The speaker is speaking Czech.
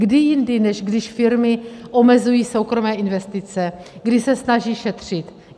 Kdy jindy, než když firmy omezují soukromé investice, kdy se snaží šetřit?